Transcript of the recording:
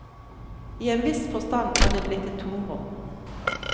I en viss forstand er det blitt et tomrom.